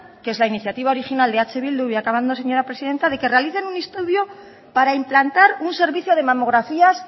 que es la iniciativa original de eh bildu voy acabando señora presidenta de que realicen un estudio para implantar un servicio de mamografías